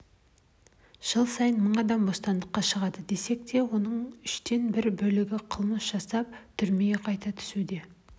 жыл сайын мың адам бостандыққа шығады десек оның үштен бір бөлігі қылмыс жасап түрмеге қайта түсуде